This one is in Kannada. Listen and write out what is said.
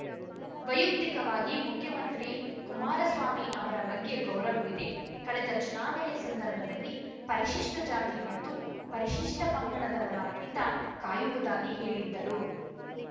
ವೈಯಕ್ತಿಕವಾಗಿ ಮುಖ್ಯಮಂತ್ರಿ ಕುಮಾರಸ್ವಾಮಿ ಅವರ ಬಗ್ಗೆ ಗೌರವವಿದೆ ಕಳೆದ ಚುನಾವಣೆ ಸಂದರ್ಭದಲ್ಲಿ ಪರಿಶಿಷ್ಟಜಾತಿ ಮತ್ತು ಪರಿಶಿಷ್ಟಪಂಗಡದವರ ಹಿತ ಕಾಯುವುದಾಗಿ ಹೇಳಿದ್ದರು